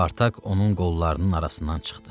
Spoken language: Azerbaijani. Spartak onun qollarının arasından çıxdı.